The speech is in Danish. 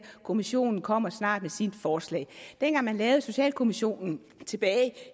kommissionen kommer snart med sit forslag dengang man lavede en socialkommission tilbage